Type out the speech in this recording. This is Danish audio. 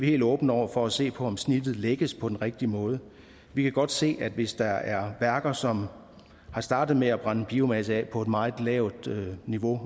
helt åbne over for at se på om snittet lægges på den rigtige måde vi kan godt se at hvis der er værker som er startet med at brænde biomasse af på et meget lavt niveau